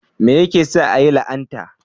Menene yake sa a yi la'anta?